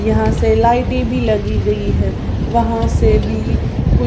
यहां से लाइटें भी लगी गई है वहां से भी कु --